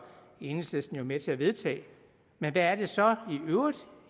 enhedslisten med til at vedtage hvad er det så i øvrigt